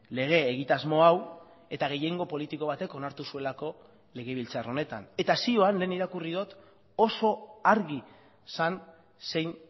lege egitasmo hau eta gehiengo politiko batek onartu zuelako legebiltzar honetan eta zioan lehen irakurri dut oso argi zen zein